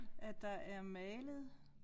At der er malet